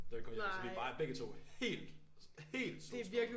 Da vi kom hjem så vi bare begge to helt sådan helt solskoldet